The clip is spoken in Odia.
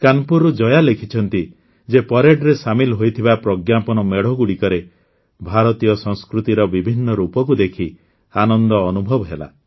କାନପୁରରୁ ଜୟା ଲେଖିଛନ୍ତି ଯେ ପରେଡରେ ସାମିଲ ହୋଇଥିବା ପ୍ରଜ୍ଞାପନ ମେଢ଼ଗୁଡ଼ିକରେ ଭାରତୀୟ ସଂସ୍କୃତିର ବିଭିନ୍ନ ରୂପକୁ ଦେଖି ଆନନ୍ଦ ଅନୁଭବ ହେଲା